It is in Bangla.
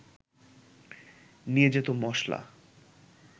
নিয়ে যেত মশলা